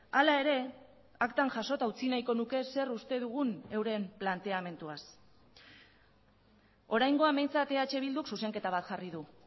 hala ere aktan jasota utzi nahiko nuke zer uste dugun euren planteamenduaz oraingoan behintzat eh bilduk zuzenketa bat jarri du